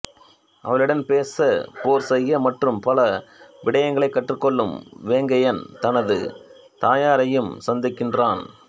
அவளிடன் பேச போர் செய்ய மற்றும் பல விடயங்களைக் கற்றுக் கொள்ளும் வேங்கையன் தனது தாயாரையும் சந்திக்கின்றான்